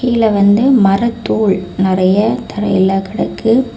கீழ வந்து மரத்தூள் நிறைய தரையில கிடக்கு.